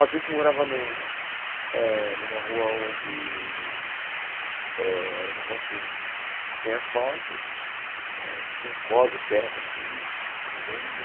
A gente morava num eh numa rua onde eh era uma rua sem asfalto, tinha um córrego perto, assim, é o que eu me lembro.